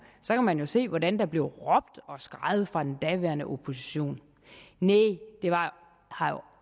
så kan man se hvordan der blev råbt og skreget fra den daværende opposition næh det har jo